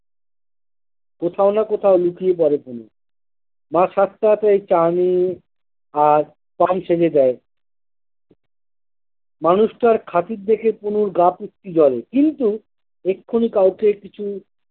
কোথাও না কোথাও লুকিয়ে পরে পুলু মা সাথ তাড়াতাড়ি চাউমিন আর পান সেজে দেয় মানুষটার খাতির দেখে পুলুর গা পিত্তি জ্বলে কিন্তু এক্ষুনি কাউকে কিছু।